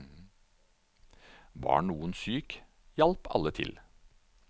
Var noen syk, hjalp alle til.